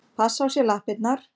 Passa á sér lappirnar.